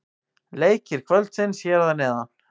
Leikir kvöldsins hér að neðan: